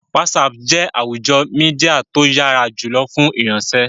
Whatsapp jẹ́ àwùjọ Mídíà tó yára jùlọ fún ìfiránṣẹ́